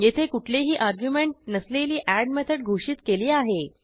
येथे कुठलेही अर्ग्युमेंट नसलेली एड मेथड घोषित केली आहे